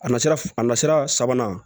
A na sira a nasira sabanan